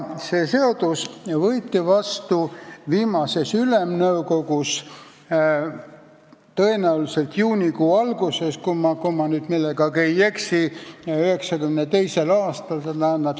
Esimene seadus võeti vastu viimases Ülemnõukogus, tõenäoliselt juunikuu alguses 1992. aastal.